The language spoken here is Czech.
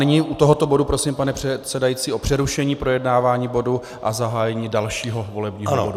Nyní u tohoto bodu prosím, pane předsedající, o přerušení projednávání bodu a zahájení dalšího volebního bodu.